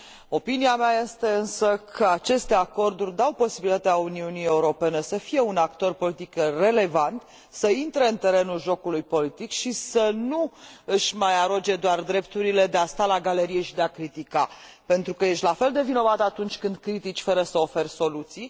Opinia mea este însă că aceste acorduri dau posibilitatea Uniunii Europene să fie un actor politic relevant, să intre în terenul jocului politic și să nu își mai aroge doar drepturile de a sta la galerie și de a critica, pentru că ești la fel de vinovat atunci când critici fără să oferi soluții.